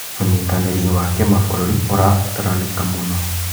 ũnyitanĩri wa kĩmabũrũri ũrabataranĩka mũno.